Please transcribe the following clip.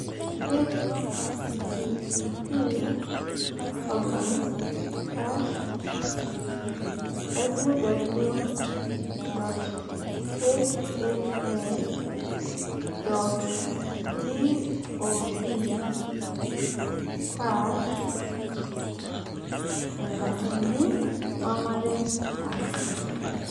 http://www.hhs.gov/enkatitin ormarei /